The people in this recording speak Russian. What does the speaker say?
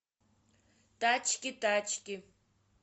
тачки тачки